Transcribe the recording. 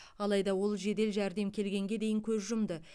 алайда ол жедел жәрдем келгенге дейін көз жұмды